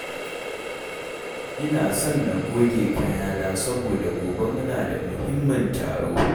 Ina son na goge kayana saboda gobe muna da muhimmin taro.